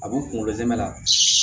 A b'u kunkolo zɛmɛ la